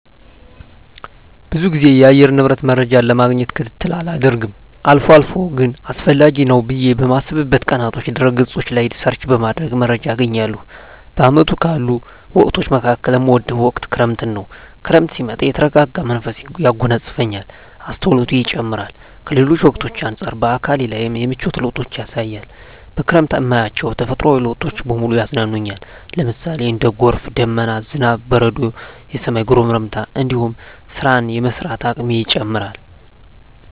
ብዙ ግዜ የአየር ንብረት መረጃን ለማግኘት ክትትል አላደርግም አልፎ አልፎ ግን አስፈላጊ ነው ብየ በማስብበት ቀናቶች ድህረ ገጾች ላይ ሰርች በማድረግ መረጃ አገኛለሁ። በአመቱ ካሉ ወቅቶች መካከል እምወደው ወቅት ክረምትን ነው። ክረምት ሲመጣ የተረጋጋ መንፈስ ያጎናጽፈኛል፣ አስተውሎቴ ይጨምራር፣ ከሌሎች ወቅቶች አንጻር በአካሌ ላይም የምቿት ለውጦችን ያሳያል፣ በክረምት እማያቸው ተፈጥሮአዊ ለውጦች በሙሉ ያዝናኑኛል ለምሳሌ:- እንደ ጎርፍ፣ ደመና፣ ዝናብ፣ በረዶ፣ የሰማይ ጉርምርምታ እንዲሁም ስራን የመስራት አቅሜ ይጨምራር